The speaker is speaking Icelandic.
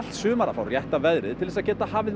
sumar að fá rétta veðrið til þess að geta hafið